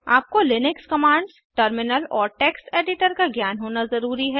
आपको Linux commands terminal और text editor का ज्ञान होना ज़रूरी है